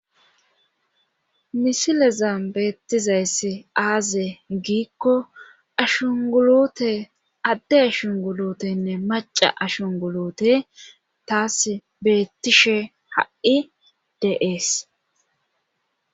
Misilezan beettizayss aaze giikko ashungulute adde ashungulutenne maca ashungulute taas beettishe ha7i deees.